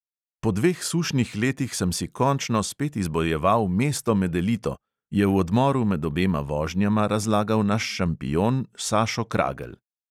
"Po dveh sušnih letih sem si končno spet izbojeval mesto med elito," je v odmoru med obema vožnjama razlagal naš šampion sašo kragelj.